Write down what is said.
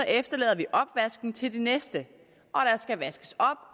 efterlader vi opvasken til de næste